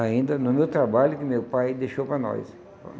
Ainda no meu trabalho que meu pai deixou para nós.